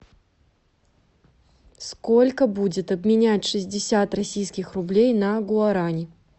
сколько будет обменять шестьдесят российских рублей на гуарани